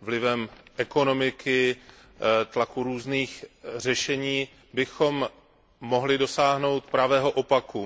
vlivem ekonomiky, tlaku různých řešení bychom mohli dosáhnout pravého opaku.